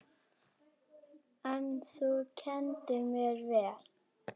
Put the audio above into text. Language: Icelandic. En þú kenndir mér vel.